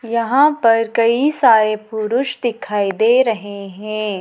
यहां पर कई सारे पुरुष दिखाई दे रहे हैं।